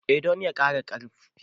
E, don ya ƙara ƙarfin